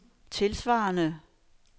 tilsvarende